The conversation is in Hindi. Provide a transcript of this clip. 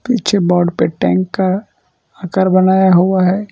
पीछे बोर्ड पर टैंक का आकार बनाया हुआ है।